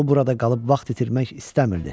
O burada qalıb vaxt itirmək istəmirdi.